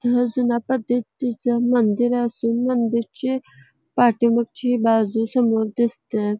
जुन्या पद्धतीचे मंदिर असून मंदिरची पाठीमागची बाजू समोर दिसतय.